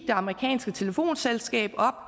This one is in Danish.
det amerikanske telefonselskab op